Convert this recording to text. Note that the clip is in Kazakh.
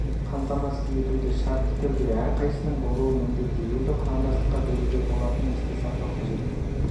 қамтамасыз етуді шартты түрде әр қайсысының болуы міндетті екі құрамдастыққа бөлуге болатынын есте сақтау қажет